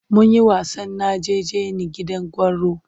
Mun yi wasan najeje ni gidan gwauro.